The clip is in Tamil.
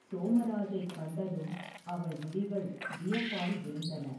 சோமராஜைக் கண்டதும், அவள் விழிகள் வியப்பினால் விரிந்தன.